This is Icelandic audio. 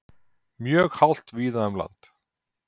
Mjög hált víða um land